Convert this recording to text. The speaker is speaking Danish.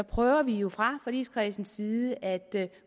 prøver vi jo fra forligskredsens side at